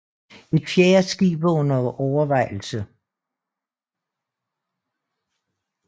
Et fjerde skib er under overvejelse